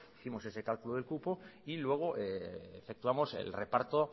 hicimos ese cálculo del cupo y luego efectuamos el reparto